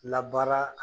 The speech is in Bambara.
Labaara